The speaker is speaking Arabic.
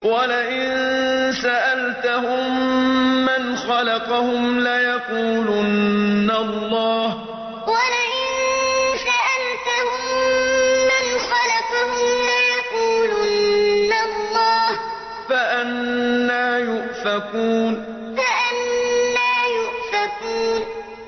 وَلَئِن سَأَلْتَهُم مَّنْ خَلَقَهُمْ لَيَقُولُنَّ اللَّهُ ۖ فَأَنَّىٰ يُؤْفَكُونَ وَلَئِن سَأَلْتَهُم مَّنْ خَلَقَهُمْ لَيَقُولُنَّ اللَّهُ ۖ فَأَنَّىٰ يُؤْفَكُونَ